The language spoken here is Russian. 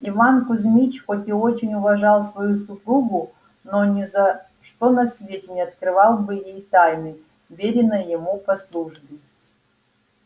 иван кузмич хоть и очень уважал свою супругу но ни за что на свете не открыл бы ей тайны вверенной ему по службе